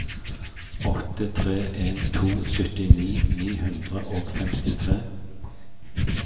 åtte tre en to syttini ni hundre og femtitre